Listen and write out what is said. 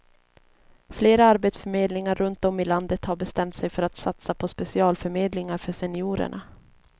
Flera arbetsförmedlingar runtom i landet har bestämt sig för att satsa på specialförmedlingar för seniorerna.